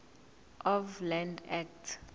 of land act